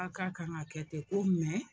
A ka kan ka kɛ ten ko